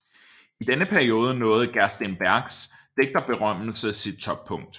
I denne periode nåede Gerstenbergs digterberømmelse sit toppunkt